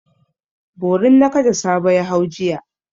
Borin nakada Sabo ya hau jiya.